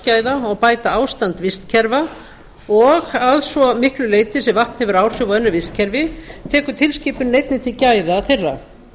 vatnsgæða og bæta ástand vistkerfa og að svo miklu leyti sem vatn hefur áhrif á önnur vistkerfi tekur tilskipunin einnig til gæða þeirra